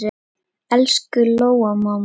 Elsku Lóa amma mín.